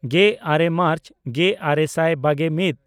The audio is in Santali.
ᱜᱮᱼᱟᱨᱮ ᱢᱟᱨᱪ ᱜᱮᱼᱟᱨᱮ ᱥᱟᱭ ᱵᱟᱜᱮᱼᱢᱤᱫ